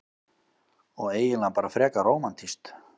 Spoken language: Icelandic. Og eiginlega bara frekar rómantískt.